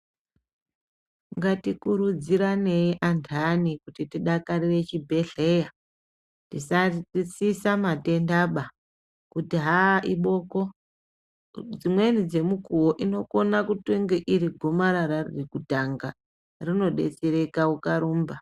Ngatikurudzirane anthani kuti tidakarira chibhehleya, kwete kuti aiboko rinogona kunge ritori gomarara ririkude kutanga rinodetsereka ukarumba.